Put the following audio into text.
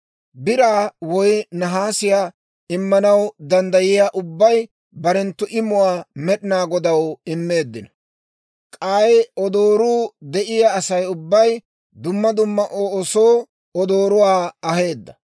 Biraa woy nahaasiyaa immanaw danddayiyaa ubbay barenttu imuwaa Med'inaa Godaw immeeddino; k'ay odooruu de'iyaa Asay ubbay dumma dumma oosoo odooruwaa aheedda.